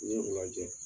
N'i y'o lajɛ